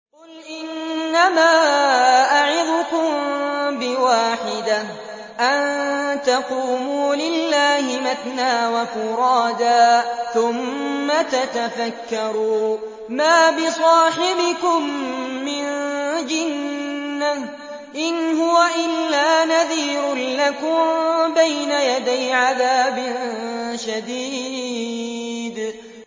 ۞ قُلْ إِنَّمَا أَعِظُكُم بِوَاحِدَةٍ ۖ أَن تَقُومُوا لِلَّهِ مَثْنَىٰ وَفُرَادَىٰ ثُمَّ تَتَفَكَّرُوا ۚ مَا بِصَاحِبِكُم مِّن جِنَّةٍ ۚ إِنْ هُوَ إِلَّا نَذِيرٌ لَّكُم بَيْنَ يَدَيْ عَذَابٍ شَدِيدٍ